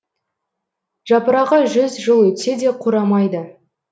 жапырағы жүз жыл өтсе де қурамайды